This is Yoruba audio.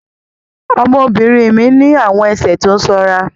Ọmọ mi obìnrin ní àwọn ẹsẹ̀ tó sanra